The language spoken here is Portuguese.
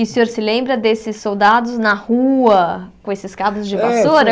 E o senhor se lembra desses soldados na rua com esses cabos de vassoura?